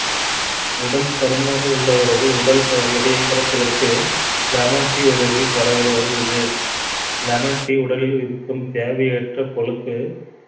உடல் பருமனாக உள்ளவர்கள் உடல் எடையை குறைப்பதற்கு lemon tea உதவி வருகிறது lemon tea உடலில் இருக்கும் தேவையற்ற கொழுப்பு